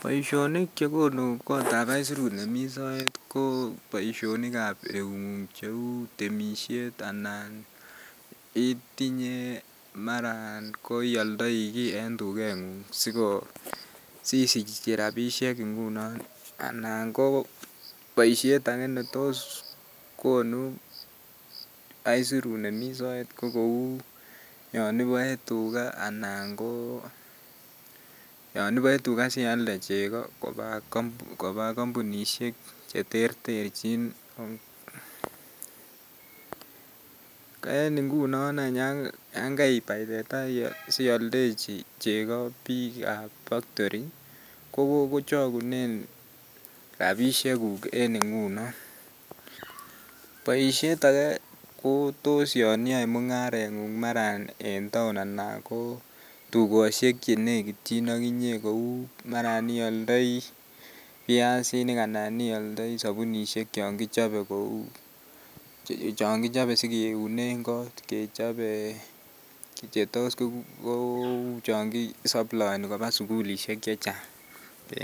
Boishonik chegonu kotab aisirut nemi soet ko boishonnikab eungung cheu temishet anan itinye maran ko ioldoi kii en tukengung siko sisich rabishek ngunoon anan ko boishet akee netos konu aisirut nemi soet ko kou yoon iboe tukaa anan ko yoon iboe tukaa sialde cheko koba kombunishek cheterterchin, ko en ingunon any yoon kaibai teta sioldechi cheko biikab factory ko chokunen rabishekuk en ingunon, boishet akee ko toos yoon iyoe mungarengung maran en taon anan ko tukoshek chenekityin okinye kouu maran ioldoi biasinik anan ioldoi subunishek chon kichobe kouu cheu chon kichobe sikiunen koot, kechobe chetos kouu chon kisoploeni kobaa sukulishek chechang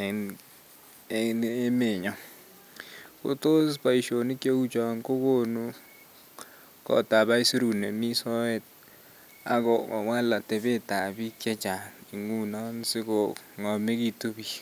en emenyon, kotos boishonik cheuchon ko kokonu kotab aisirut nemi soet ak kowal atebetab biik chechang nguon sikongomekitu biik.